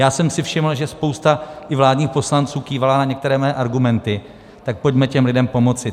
Já jsem si všiml, že spousta i vládních poslanců kývala na některé mé argumenty, tak pojďme těm lidem pomoci.